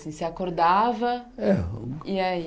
Você se acordava e aí? É E aí